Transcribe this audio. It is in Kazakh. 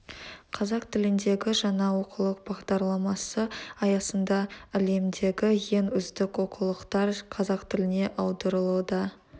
қазақ тіліндегі жаңа оқулық бағдарламасы аясында әлемдегі ең үздік оқулықтар қазақ тіліне аударылуда